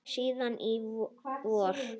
Síðan í vor.